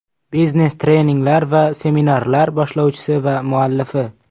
Biznes-treninglar va seminarlar boshlovchisi va muallifi.